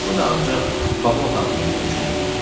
Bu da ancaq Baba otağında mümkün idi.